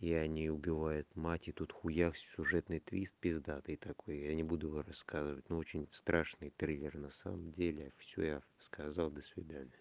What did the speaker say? и они убивают мать и тут хуякс сюжетный твист пиздатый такой я не буду его рассказывать но очень страшный триллер на самом деле всё я сказал до свидания